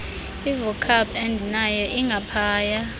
ivocab endinayo ingaphaya